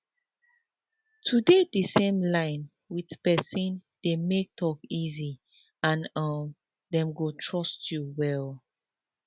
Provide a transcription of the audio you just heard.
to dey the same line with person dey make talk easy and um dem go trust you well